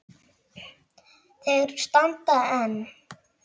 Þeir standa enn.